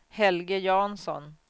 Helge Jansson